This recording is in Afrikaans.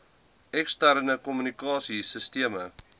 eksterne kommunikasie sisteme